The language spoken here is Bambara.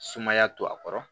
Sumaya to a kɔrɔ